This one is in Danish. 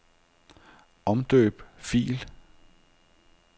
Omdøb fil.